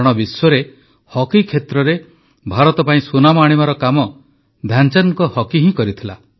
କାରଣ ବିଶ୍ୱରେ ହକି କ୍ଷେତ୍ରରେ ଭାରତ ପାଇଁ ସୁନାମ ଆଣିବାର କାମ ଧ୍ୟାନଚାନ୍ଦଙ୍କ ହକି ହିଁ କରିଥିଲା